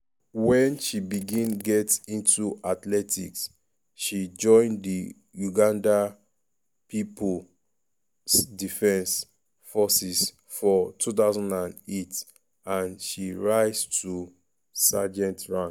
wen she begin get into athletics she join di uganda people’s defence forces for 2008 and she rise to sergeant rank.